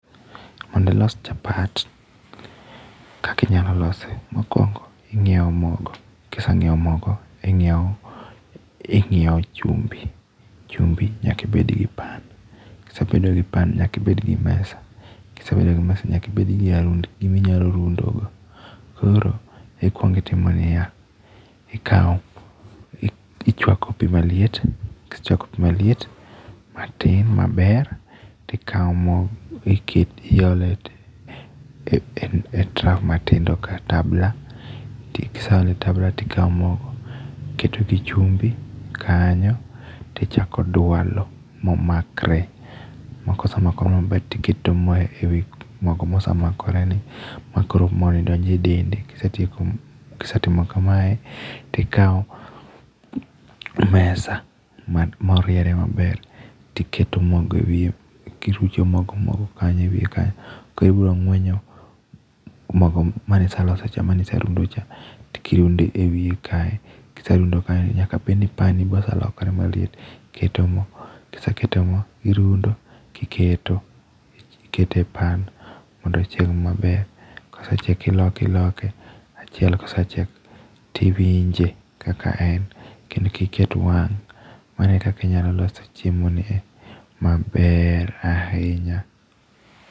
Mondo ilos chapat, kaka inyalo lose mokuongo ing'iewo mogo, kise ng'iewo mogo, kise ng'iewo mogo to ing'iewo chumbi. Chumbi nyaka ibed gi pan, kisebedo gi pan nyaka ibed gi mesa. Ka isebedo gi mesa nyaka ibed gi gima inyalo rundogo. Koro ikuongo itimo niya, ichuako pi maliet, kisechuako pi maliet matin maber to ikawo mo to iole e trough matindo kata tambla kaeto ikawo mogo iketo gi chumbi kanyo, to ichako dwalo momakre. Kosemakre maber to iketo mo ewi mogo mosemakoreni makoro mo donjo e dende. Kisetieko kisetimo kamae to ikawo mesa moriere maber toiketo mogo ewiye, irucho mogo ewiye koro ibiro ng'wenyo mogo mane iseloso cha mane iserundo cha kokirunde ewie kae, kiserundo kanyo to nyaka bed ni pan ni be oselokre maliet. Iketo mo, kiseketo mo irundo kiketo, iketo e pan mondo ochieg maber. Kosechiek iloke iloke, achiel ka osechiek to iwinje kaka en kendo kik iket wang' . Mano e kaka inyalo loso chiemoni e maber ahinya.